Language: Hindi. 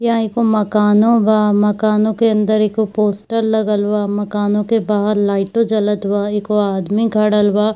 यहाँ एगो मकानों बा मकानों के अंदर एगो पोस्टर लगल बा मकानों के बाहर लाइटो जलत बा एको आदमी खडल बा।